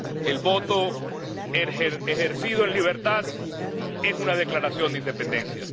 El voto ejercido en libertad es una declaración de independencia.